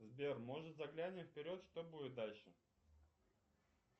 сбер может заглянем вперед что будет дальше